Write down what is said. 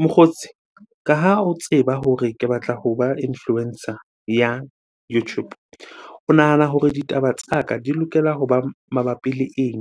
Mokgotsi, ka ha o tseba hore ke batla hoba influencer ya YouTube. O nahana hore ditaba tsa ka di lokela hoba mabapi le eng?